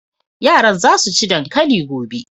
Yaran za su ci dankali gobe.